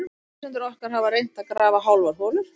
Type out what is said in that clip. Sumir lesendur okkar hafa reynt að grafa hálfar holur.